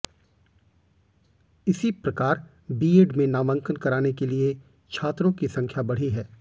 इसी प्रकार बीएड में नामांकन कराने के लिए छात्रों की संख्या बढ़ी है